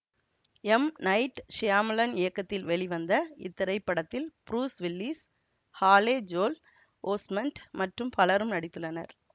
M Night Shyamalan இயக்கத்தில் வெளிவந்த இத்திரைப்படத்தில் Bruce Willis Haley Joel Osment மற்றும் பலரும் நடித்துள்ளன்ர